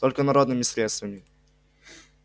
только народными средствами